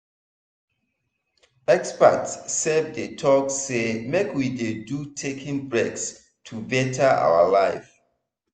experts sef dey talk say make we dey do taking breaks to better our life.